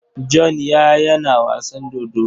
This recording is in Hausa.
John ya yana wasan dodo.